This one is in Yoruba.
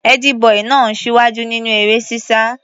Ẹ́dí-bọì náà ń ṣíwájú nínú eré-sísá.